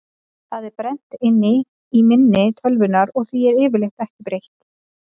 Það er brennt inn í minni tölvunnar og því er yfirleitt ekki breytt.